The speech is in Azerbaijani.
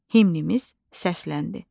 Himnimiz səsləndi.